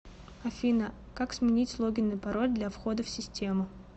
афина как сменить логин и пароль для входа в систему